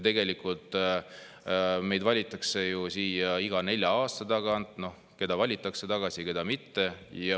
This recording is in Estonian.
Tegelikult meid valitakse ju siia iga nelja aasta tagant – keda valitakse tagasi, keda mitte.